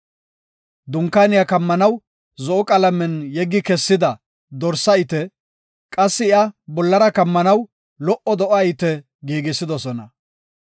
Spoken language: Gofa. Dunkaaniya kammanaw zo7o qalamen yeggi kessida dorsa ite, qassi iya bollara kammanaw lo77o do7a ite giigisidosona.